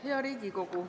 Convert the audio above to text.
Hea Riigikogu!